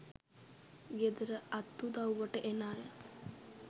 ගෙදර අත් උදව්වට එන අය